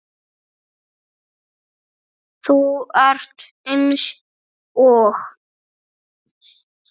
Þú ert eins og